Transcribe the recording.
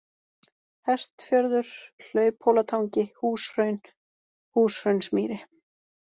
Hestfjörður, Hlauphólatangi, Húshraun, Húshraunsmýri